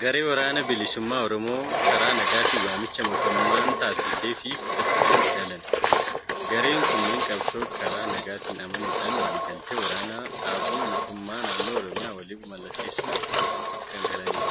Garee waraana bilisummaa Oromoo karaa nagaatiin waamicha mootummaan taasiseefii fudhachuudhaan galan. Gareen kunneen qabsoo karaa nagaatti amanuudhaan waliigaltee waraana dhaabuu mootummaa naannoo Oromiyaa waliin mallatteessuun kan galanidha.